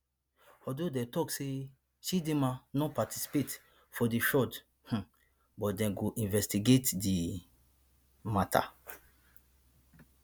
although dem tok say chidimma no participate for di fraud um but dem go investigate di um matter